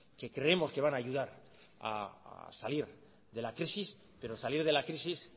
que creemos que van a ayudar a salir de la crisis pero salir de la crisis